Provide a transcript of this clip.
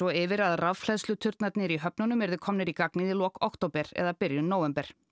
yfir að í höfnunum yrðu komnir í gagnið í lok október eða byrjun nóvember